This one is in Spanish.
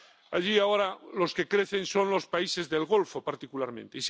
Allí, ahora, los que crecen son los países del Golfo, particularmente.